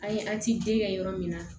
A' ye kɛ yɔrɔ min na